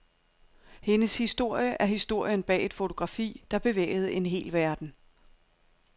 Hendes historie er historien bag et fotografi, der bevægede en hel verden.